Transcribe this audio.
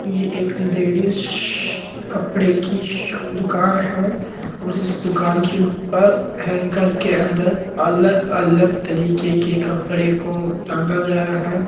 ये एक लेडीजस्स्स्स कपडे की शो दूकान है और इस दूकान के ऊपर हैंगर के अन्दर अलग अलग तरिके के कपडे को टांगा गया हे।